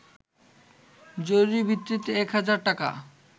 জরুরি ভিত্তিতে এক হাজার টাকা